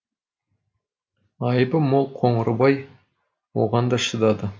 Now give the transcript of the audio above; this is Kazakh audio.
айыбы мол қоңырбай оған да шыдады